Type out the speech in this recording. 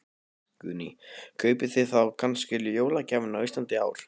Guðný: Kaupið þið þá kannski jólagjafirnar á Íslandi í ár?